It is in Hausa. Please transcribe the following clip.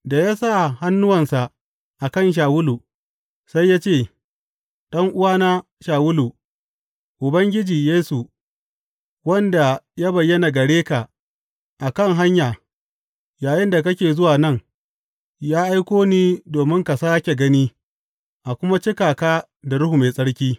Da ya sa hannuwansa a kan Shawulu, sai ya ce, Ɗan’uwana Shawulu, Ubangiji, Yesu, wanda ya bayyana gare ka a kan hanya yayinda kake zuwa nan, ya aiko ni domin ka sāke gani a kuma cika ka da Ruhu Mai Tsarki.